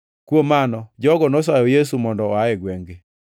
Kuom mano jogo nosayo Yesu mondo oa e gwengʼ-gi.